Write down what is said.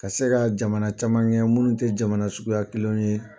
Ka se ka jamana caman kɛ minnu tɛ jamana suguya kelenw ye.